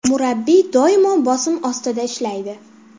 Murabbiy doimo bosim ostida ishlaydi.